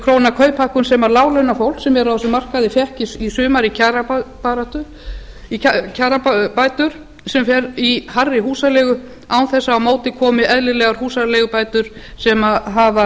krónur kauphækkun sem láglaunafólk sem er á þessum markaði fékk í sumar í kjarabætur sem fer í hærri húsaleigu án þess að á móti komi eðlilegar húsaleigubætur sem hafa